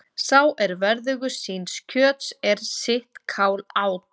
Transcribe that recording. Sá er verðugur síns kjöts er sitt kál át.